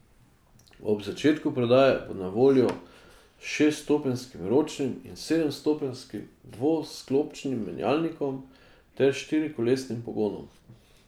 Ob začetku prodaje bo na voljo s šeststopenjskim ročnim ali sedemstopenjskim dvosklopčnim menjalnikom ter štirikolesnim pogonom.